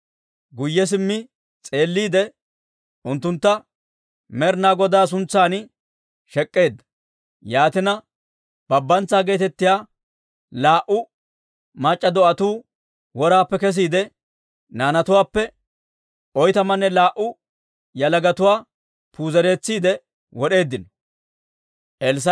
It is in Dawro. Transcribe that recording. Guyye simmi s'eelliide, unttuntta Med'ina Godaa suntsan shek'k'eedda. Yaatina Babantsaa geetettiyaa laa"u mac'c'a do'atuu woraappe kesiide, naanatuwaappe oytamanne laa"u yalagatuwaa puuzeretsiide wod'eeddino. Babbantsaa